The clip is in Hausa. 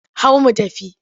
Hau mu tafi!